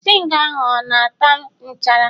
zinc ahụ, ọ nata nchara